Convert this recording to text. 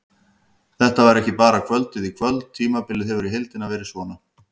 Þetta var ekki bara kvöldið í kvöld, tímabilið hefur í heildina verið svona.